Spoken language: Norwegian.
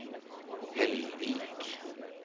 Hellvik